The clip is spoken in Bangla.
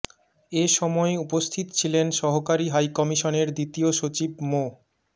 এ সময় উপস্থিত ছিলেন সহকারী হাইকমিশনের দ্বিতীয় সচিব মো